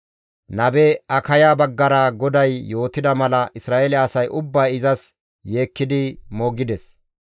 Nabe Akaya baggara GODAY yootida mala Isra7eele asay ubbay izas yeekkidi moogides.